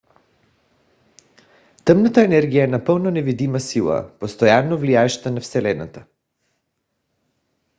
тъмната енергия е напълно невидима сила постоянно влияеща на вселената